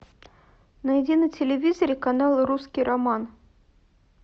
найди на телевизоре канал русский роман